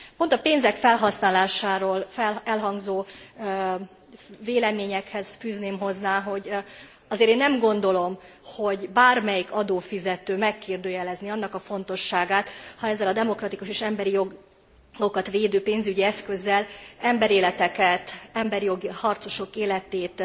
Pont a pénzek felhasználásáról elhangzó véleményekhez fűzném hozzá, hogy azért én nem gondolom, hogy bármelyik adófizető megkérdőjelezné annak a fontosságát, ha ezzel a demokratikus és emberi jogokat védő pénzügyi eszközzel emberéleteket, emberi jogi harcosok életét